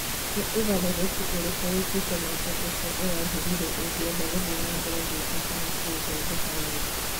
Nĩ ũgarũrũku ũrĩkũ wĩkĩte mwaka ũcio ũrathirire ũngĩenda gũthiĩ na mbere gwĩka kana kũũthondeka wega?